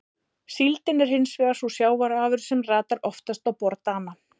Síldin er hins vegar sú sjávarafurð sem ratar oftast á borð Dana.